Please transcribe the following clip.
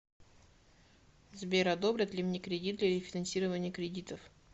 сбер одобрят ли мне кредит для рефинансирования кредитов